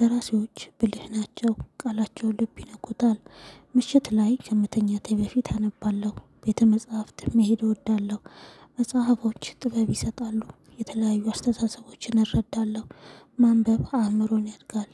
ደራሲዎች ብልህ ናቸው፣ ቃላቸው ልብ ይነኩታል። ምሽት ላይ ከምተኛቴ በፊት አነባለሁ። ቤተ መጽሐፍትም መሄድ እወዳለሁ። መጽሐፎች ጥበብ ይሰጣሉ። የተለያዩ አስተሳሰቦችን እረዳለሁ፣ ማንበብ አእምሮን ያድጋል፣